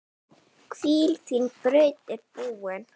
Hvíl, þín braut er búin.